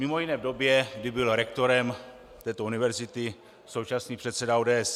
Mimo jiné v době, kdy byl rektorem této univerzity současný předseda ODS.